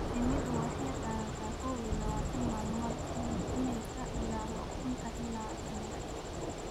Shinnidu waxay qaadataa kow iyo labaatan maalmood inay ka dillaacdo ukunta ilaa shinnida.